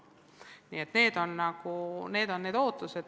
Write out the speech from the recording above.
Nii et need on need ootused.